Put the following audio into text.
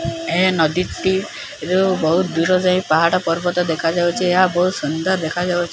ଏ ନଦୀଟି ରୁ ବୋହୁତ ଦୂର ଯାଏଁ ପାହାଡ଼ ପର୍ବତ ଦେଖା ଯାଉଚି। ଏହା ବୋହୁତ ସୁନ୍ଦର ଦେଖାଯାଉଚି।